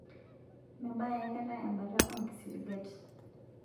Mebaya aikata ebata oo nkisiligat